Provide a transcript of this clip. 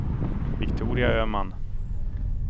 Viktoria Öman